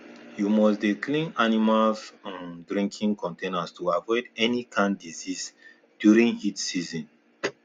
you must dey clean animals um drinking containers to avoid any kind disease during heat season